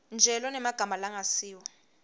nje lonemagama langasiwo